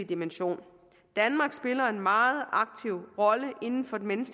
dimension danmark spiller en meget aktiv rolle inden for den